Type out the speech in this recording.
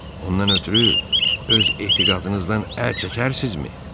Ondan ötrü öz etiqadınızdan əl çəkərsinizmi?